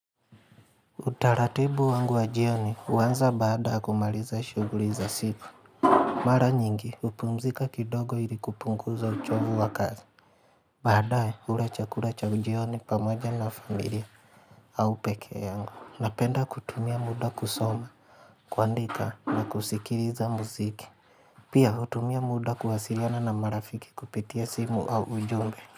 Utaratibu wangu wa jioni huanza baada kumaliza shughuli za siku Mara nyingi hupumzika kidogo ili kupunguza uchovu wa kazi Baadae hula chakula cha jioni pamoja na familia au pekee yangu Napenda kutumia muda kusoma, kuandika na kusikiliza muziki Pia hutumia muda kuwasiliana na marafiki kupitia simu au ujumbe.